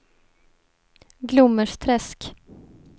Glommersträsk